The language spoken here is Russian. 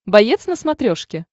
боец на смотрешке